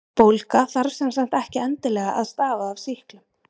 bólga þarf sem sagt ekki endilega að stafa af sýklum